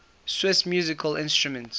swiss musical instruments